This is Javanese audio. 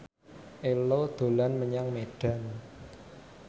Ello dolan menyang Medan